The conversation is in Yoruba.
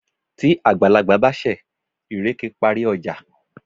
tí àgbàlagbà bá ṣẹ̀, ìrèké parí ọjà.